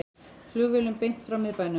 Flugvélum beint frá miðbænum